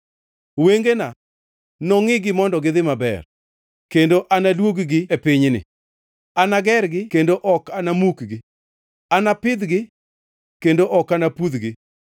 Wengena nongʼigi mondo gidhi maber, kendo anadwog-gi e pinyni. Anagergi kendo ok anamukgi; anapidhgi kendo ok anapudhgi.